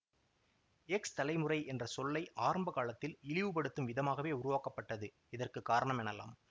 X தலைமுறை என்ற சொல்லை ஆரம்ப காலத்தில் இழிவுப்படுத்தும் விதமாகவே உருவாக்கப்பட்டது இதற்கு காரணம் எனலாம்